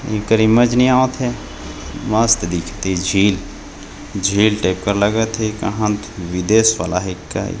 नी आत हेमस्त दिखत हे झील झील टाइप का लगत हे कहा विदेश वाला हे कि --